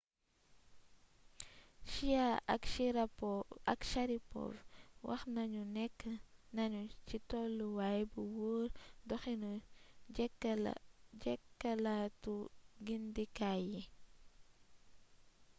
chiao ak sharipov wax nanu nekk nanu ci tolluwaay bu wóor doxinu jekkalaatu gindikaay yi